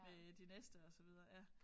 Med de næste og så videre ja